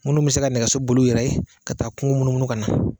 Minnu bɛ se ka nɛgɛso boli u yɛrɛ ye ka taa kungo munumunu ka na